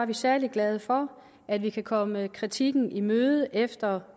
vi særlig glade for at vi kan komme kritikken i møde efter